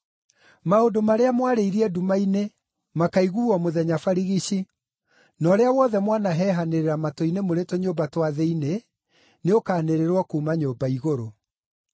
Maũndũ marĩa mwarĩirie nduma-inĩ, makaiguuo mũthenya barigici, na ũrĩa wothe mwanahehanĩrĩra matũ-inĩ mũrĩ tũnyũmba twa thĩinĩ, nĩũkanĩrĩrwo kuuma nyũmba igũrũ.